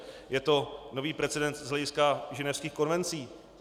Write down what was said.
Je to nový precedens z hlediska ženevských konvencí.